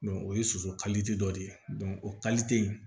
o ye soso dɔ de ye o in